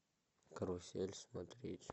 карусель смотреть